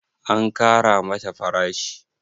an Kara mata farashi?